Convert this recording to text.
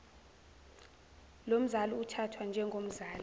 lomzali uthathwa njengomzali